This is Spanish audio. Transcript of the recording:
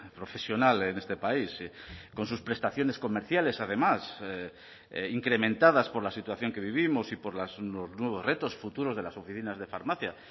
profesional en este país con sus prestaciones comerciales además incrementadas por la situación que vivimos y por los nuevos retos futuros de las oficinas de farmacia